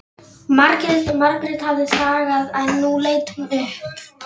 Margrét hafði þagað en nú leit hún upp.